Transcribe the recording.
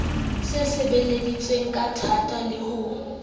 e sebeleditsweng kathata le ha